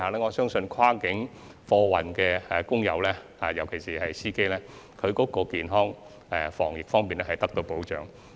我相信，跨境貨運的工友，特別是司機，健康及防疫方面將會得到保障。